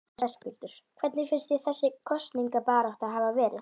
Höskuldur: Hvernig finnst þér þessi kosningabarátta hafa verið?